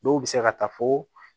Dɔw bɛ se ka taa fo